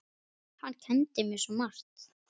Hann kenndi mér svo margt.